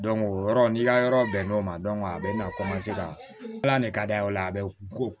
o yɔrɔ n'i ka yɔrɔ bɛn n'o ma a bɛna ka ala de ka d'a ye o la a bɛ ko